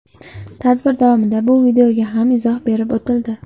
Tadbir davomida bu videoga ham izoh berib o‘tildi.